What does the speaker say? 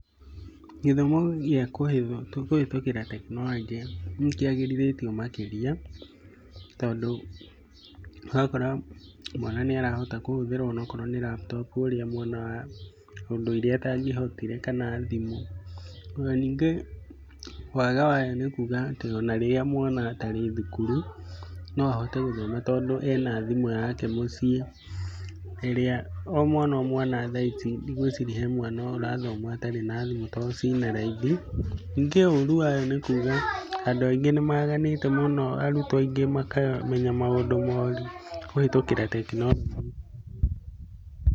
Gĩthomo gia kũhĩtũkĩra tekinoronjĩ nĩ kĩagĩrĩthĩtio makĩria, tondũ ũrakora mwana nĩ arahota kũhũthĩra onakorwo nĩ laptop ũrĩa mwana wa ũndũire atangĩahotire kana thimũ. Ona ningĩ wega wayo nĩ kuuga atĩ ona rĩrĩa mwana atarĩ thukuru no ahote gũthoma tondũ ena thimũ yake mũciĩ, ĩrĩa o mwana o mwana thaa ici ndĩgwĩciria he mwana ũrathoma atarĩ na thimũ tondũ cina raithi. Ningĩ ũruu wayo nĩ kuuga andũ aingĩ nĩ maganĩte mũno, arutwo aingĩ makamenya maũndũ moru kũhĩtũkĩra tekinoronjĩ.